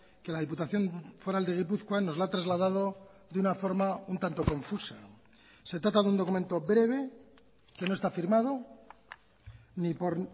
que la diputación foral de gipuzkoa nos la ha trasladado de una forma un tanto confusa se trata de un documento breve que no está firmado ni por